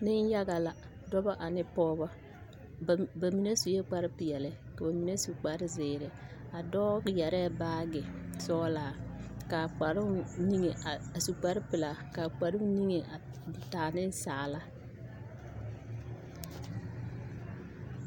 Nenyaga la dɔba ane pɔgeba ba bamine sue kparpeɛle ka ba mine su kparzeere a dɔɔ yɛrɛɛ baage sɔglaa ka kparoo niŋe a su kparpelaa ka a kparoo niŋe a taa ninsaala.